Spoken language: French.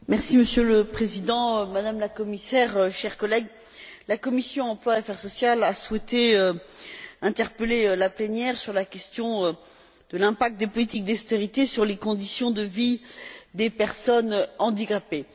Monsieur le Président, Madame la Commissaire, chers collègues, la commission de l'emploi et des affaires sociales a souhaité interpeller la plénière sur la question de l'impact des politiques d'austérité sur les conditions de vie des personnes handicapées.